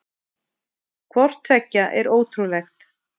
Hvort tveggja er ótrúlegt.